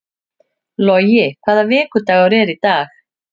Logi, hvaða vikudagur er í dag?